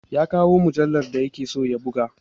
Ya kawo mujallar da ya ke so ya buga!